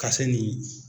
Ka se nin